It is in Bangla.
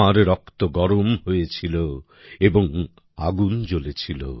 তোমার রক্ত গরম হয়েছিল এবং আগুন জ্বলেছিল